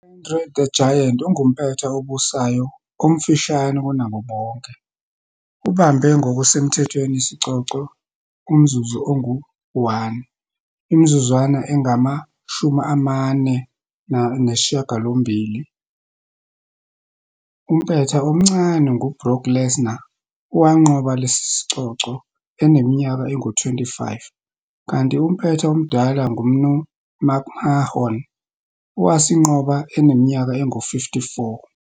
U-Andre the Giant ungumpetha obusayo omfushane kunabo bonke, ubambe ngokusemthethweni isicoco umzuzu ongu-1, imizuzwana engama shumi amane nesishiyagalombili. Umpetha omncane nguBrock Lesnar, owanqoba lesi sicoco eneminyaka engu-25, kanti umpetha omdala nguMnu McMahon, owasinqoba eneminyaka engu-54.